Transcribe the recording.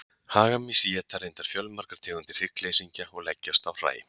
hagamýs éta reyndar fjölmargar tegundir hryggleysingja og leggjast á hræ